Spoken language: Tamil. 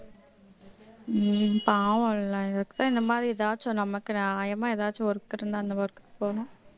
உம் பாவம் எல்லாம் இந்த மாரி எதாச்சும் நமக்கு நியாயமா ஏதாச்சும் work இருந்தா அந்த work போனோம்